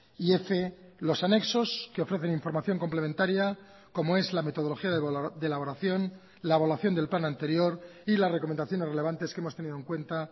y f los anexos que ofrecen información complementaria como es la metodología de elaboración la evaluación del plan anterior y las recomendaciones relevantes que hemos tenido en cuenta